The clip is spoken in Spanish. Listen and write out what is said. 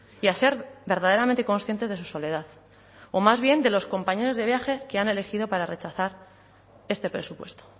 y a ser verdaderamente conscientes de su soledad o más bien de los compañeros de viaje que han elegido para rechazar este presupuesto